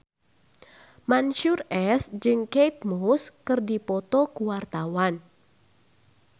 Mansyur S jeung Kate Moss keur dipoto ku wartawan